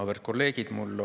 Auväärt kolleegid!